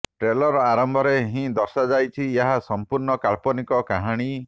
trailer ଆରମ୍ଭରେ ହିଁ ଦର୍ଶାଯାଇଛି ଏହା ସମ୍ପୂର୍ଣ୍ଣ କାଳ୍ପନିକ କାହାଣୀ